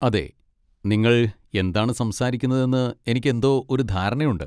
അതെ, നിങ്ങൾ എന്താണ് സംസാരിക്കുന്നതെന്ന് എനിക്ക് എന്തോ ഒരു ധാരണയുണ്ട്.